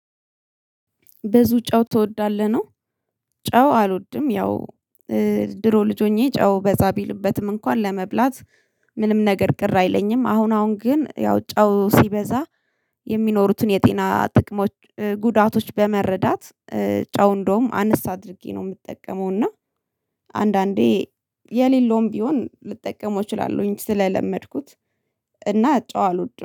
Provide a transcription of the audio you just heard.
ብዙ ጨው ትወዳለህ? ነው ጨው አልወድም ያው ድሮ ልጅ ሆኜ ጨው በዛ ቢልበትም እንኳን ለመብላት ምንም ነገር ቅር አይለኝም አሁን አሁን ግን ያው ጨው ሲበዛ የሚኖሩትን የጤና ጥቅሞች ጉዳቶች በመረዳት ጨው እንደውም አንስ አድርጌ ነው የምጠቀመው እና አንዳንዴ የሌለውም ቢሆን ልጠቀመው እችላለሁኝ ስለለመድኩት እና ጨው አልወድም።